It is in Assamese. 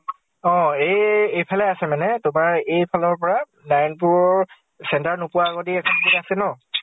অ । এ এই এফালে আছে মানে, তোমাৰ এইফালৰ পৰা নাৰায়ন পুৰৰ center নোপোৱা আগদি এখন আছে ন ?